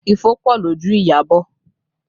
Ifo pọ lójú Iyabọ̀